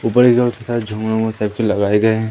ऊपर के तरफ तो सारे झूमर उमर सब लगाये गए है।